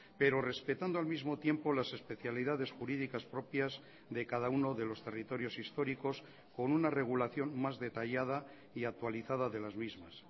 pero respetando al mismo tiempo las especialidades jurídicas propias de cada uno de los territorios históricos con una regulación más detallada y actualizada de las mismas